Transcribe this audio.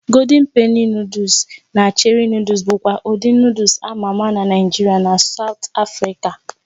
Golden Penny Nụ́dúls na Cherie Nụ́dúls bụkwa ụdị Nụ́dúls a ma ama na Naịjirịa na Saụt Afrịka a